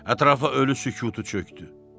Ətrafa ölü sükutu çökdü.